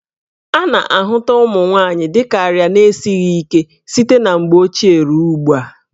A na-ahụta ụmụ nwaanyị dị ka arịa na-esighi ike site na mgbe ochie ruo ugbu a.